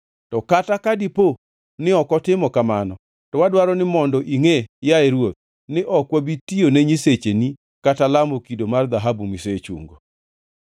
To kata ka dipo ni ok otimo kamano, to wadwaro ni mondo ingʼe, yaye ruoth, ni ok wabi tiyone nyisecheni kata lamo kido mar dhahabu misechungo.”